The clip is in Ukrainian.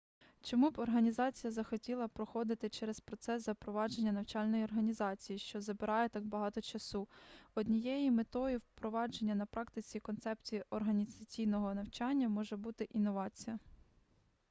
чому б організація захотіла проходити через процес запровадження навчальної організації що забирає так багато часу однією метою впровадження на практиці концепцій організаційного навчання може бути інновація